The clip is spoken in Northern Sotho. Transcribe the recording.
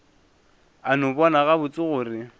a no bona gabotse gore